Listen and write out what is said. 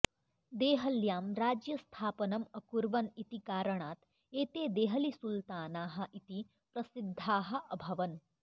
देहल्यां राज्यस्थापनम् अकुर्वन् इति कारणात् एते देहलीसुल्तानाः इति प्रसिद्धाः अभवन्